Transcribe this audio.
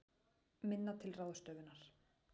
Minna til ráðstöfunar